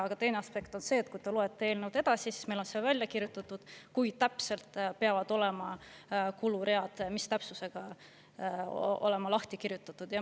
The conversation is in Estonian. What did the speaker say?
Aga teine aspekt on see, et kui te loete eelnõu edasi, siis meil on kirjutatud, mis täpsusega peavad need kuluread olema lahti kirjutatud.